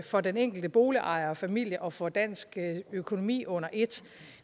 for den enkelte boligejer familie og for dansk økonomi under et